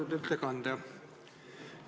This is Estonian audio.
Austatud ettekandja!